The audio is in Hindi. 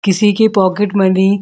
किसी के पॉकेट मनी --